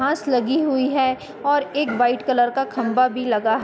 घांस लगी हुई है और एक वाइट कलर का खम्बा भी लगा --